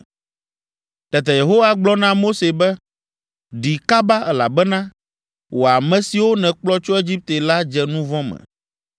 Tete Yehowa gblɔ na Mose be, “Ɖi kaba, elabena wò ame siwo nèkplɔ tso Egipte la dze nu vɔ̃ me,